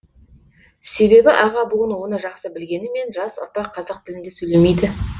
себебі аға буын оны жақсы білгенімен жас ұрпақ қазақ тілінде сөйлемейді